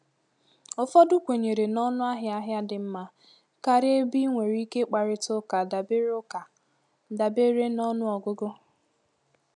Ụfọdụ kwenyere na ọnụahịa ahịa dị mma karịa ebe ị nwere ike kparịta ụka dabere ụka dabere na ọnụọgụgụ.